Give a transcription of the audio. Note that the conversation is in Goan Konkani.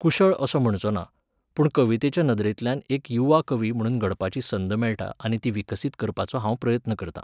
कुशळ असो म्हणचो ना, पूण कवितेच्या नदरेंतल्यान एक युवा कवी म्हणून घडपाची संद मेळटा आनी ती विकसीत करपाचो हांव प्रयत्न करतां.